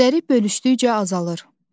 Kədəri bölüşdükcə azalır.